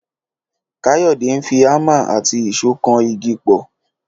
Káyọ̀dé ń fi ámà àti ìṣó kan igi pọ̀